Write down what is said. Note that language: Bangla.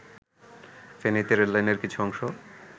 ফেনীতে রেললাইনের কিছু অংশ